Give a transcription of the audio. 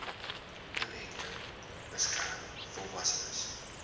inenting beskerm volwassenes